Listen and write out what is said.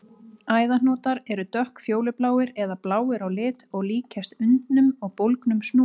Æðahnútar eru dökkfjólubláir eða bláir á lit og líkjast undnum og bólgnum snúrum.